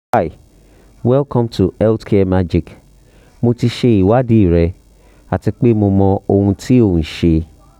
welcome to health care magic mo ti ṣe ìwádìí rẹ ati pe mo mọ ohun ti o n ṣe